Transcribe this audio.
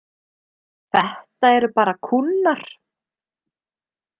Þetta eru bara kúnnar.